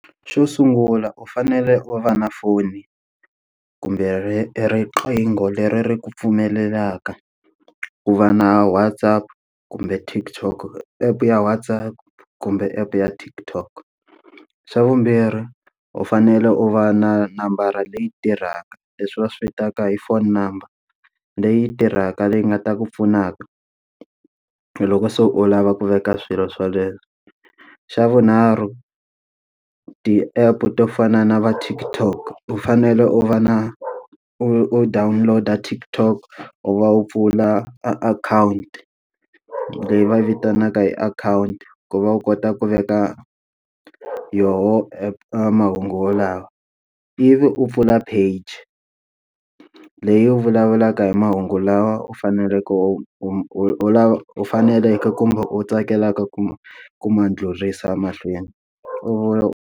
Xo sungula u fanele u va na foni kumbe riqingho leri ri ku pfumelelaka ku va na WhatsApp kumbe TikTok, app ya WhatsApp kumbe app ya TikTok. Xa vumbirhi, u fanele u va na nambara leyi tirhaka leswi va swi vitanaka hi phone number, leyi tirhaka leyi nga ta ku pfunaka loko se u lava ku veka swilo swoleswo. Xa vunharhu, ti-app to fana na va TikTok u fanele u va na u u download-a TikTok u va u pfula e akhawunti leyi va yi vitanaka hi akhawunti, ku va u kota ku veka yoho mahungu yalawa. Ivi u pfula page leyi u vulavulaka hi mahungu lawa u faneleke u u u faneleke kumbe u tsakelaka ku ku ma ndlhuriwa mahlweni. U.